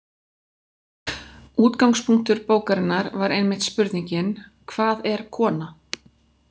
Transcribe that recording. Útgangspunktur bókarinnar var einmitt spurningin Hvað er kona?